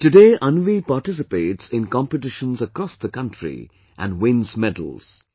Today Anvi participates in competitions across the country and wins medals